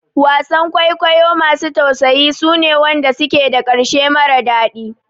Wasan kwaikwayo masu tausayi suna wanda suke da ƙarshe mara daɗi